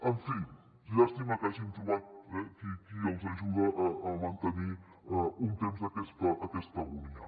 en fi llàstima que hagin trobat qui els ajuda a mantenir un temps aquesta agonia